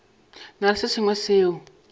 na le se sengwe seo